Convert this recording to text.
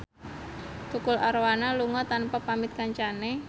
Tukul Arwana lunga tanpa pamit kancane